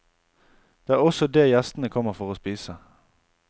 Det er også det gjestene kommer for å spise.